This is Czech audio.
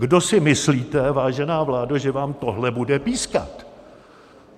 Kdo si myslíte, vážená vládo, že vám tohle bude pískat?